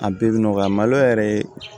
A bɛɛ bɛ nɔgɔya malo yɛrɛ